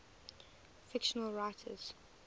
fictional writers